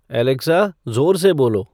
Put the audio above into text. Alexa जोर से बोलो